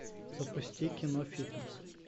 запусти кино фитнес